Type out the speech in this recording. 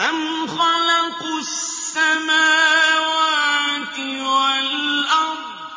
أَمْ خَلَقُوا السَّمَاوَاتِ وَالْأَرْضَ ۚ